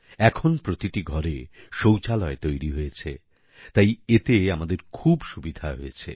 এখন প্রতিটি ঘরে শৌচালয় তৈরি হয়েছে তাই এতে আমাদের খুব সুবিধা হয়েছে